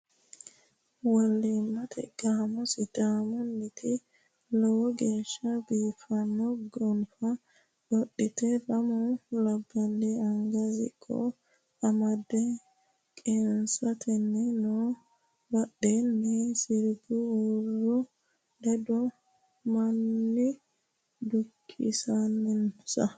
Wolimate gaamo sidaamuniti lowo geeshsha biifano gonfa qodhite lamu labbali anga siqqo amade qeenfattanni no badheni sirbu huuro ledano manni dukkisenansa.